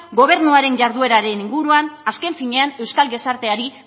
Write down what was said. gobernuaren jardueraren inguruan azken finean euskal gizarteari